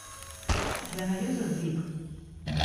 у тебя найдется сдвиг